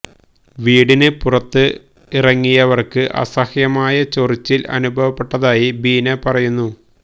വീടിന് പുറത്ത് ഇറങ്ങിയവര്ക്ക് അസഹ്യമായ ചൊറിച്ചില് അനുഭവപ്പെട്ടതായി ബീന പറയുന്നു